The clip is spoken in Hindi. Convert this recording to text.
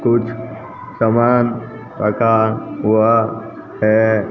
कुछ सामान रखा हुआ है।